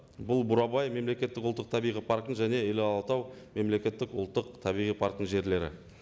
бұл бурабай мемлекеттік ұлттық табиғи парктің және іле алатау мемлекеттік ұлттық табиғи парктің жерлері